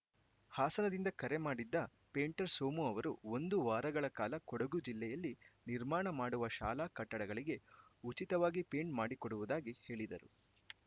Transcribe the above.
ಹಾಸನದಿಂದ ಕರೆ ಮಾಡಿದ್ದ ಪೇಂಟರ್‌ ಸೋಮು ಅವರು ಒಂದು ವಾರಗಳ ಕಾಲ ಕೊಡಗು ಜಿಲ್ಲೆಯಲ್ಲಿ ನಿರ್ಮಾಣ ಮಾಡುವ ಶಾಲಾ ಕಟ್ಟಡಗಳಿಗೆ ಉಚಿತವಾಗಿ ಪೇಂಟ್‌ ಮಾಡಿಕೊಡುವುದಾಗಿ ಹೇಳಿದರು